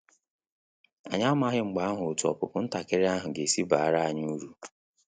Anyị amaghị mgbe ahụ otu opupu ntakịrị ahụ ga esi baara anyị uru